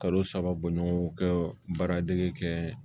Kalo saba bɔɲɔgɔnko kɛ baara dege kɛ